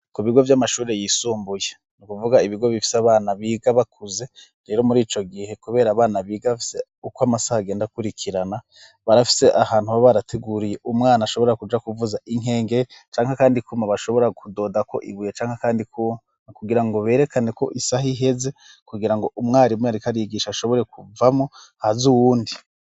Ku bigo vy'amashuri yisumbuye ni ukuvuga ibigo bifye abana biga bakuze rero muri ico gihe, kubera abana bigafse uko amasaha agenda kurikirana barafise ahantu aba barateguriye umwana ashobora kuja kuvuza inkenge canke, kandi kuma bashobora kudodako iguye canke, kandi kuna kugira ngo berekane ko isaha iheze kugira ngo umwarimuae ikarigisha ashobore kuvamo hazi uwundi.